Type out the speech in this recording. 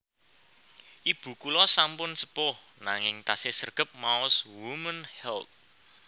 Ibu kula sampun sepuh nanging tasih sregep maos Women's Health